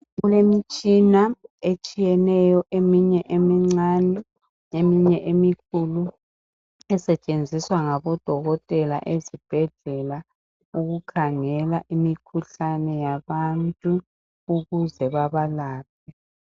Kule mtshina etshiyeneyo eminye emincane eminye emikhulu esetshenziswa ngabo dokotela ezibhedlela ukukhangela imikhuhlane yabantu ukuze babalaphe .